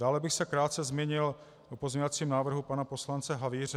Dále bych se krátce zmínil o pozměňovacím návrhu pana poslance Havíře.